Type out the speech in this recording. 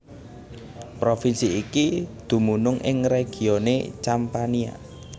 Provinsi iki dumunung ing regione Campania